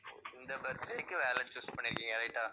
ஓ இந்த birthday க்கு wallet choose பண்ணி இருக்கீங்க right ஆ?